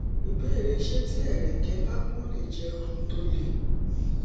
ìbéèrè ṣé tí ẹrẹkẹ bá pọn lè jẹ ohun tó le